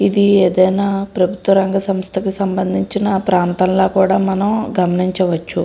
ఇది ఏదైనా ప్రభుత్వ రంగ సంస్థకి సంబందించిన ప్రాంతంలా కూడా మనం గమనించవచ్చు.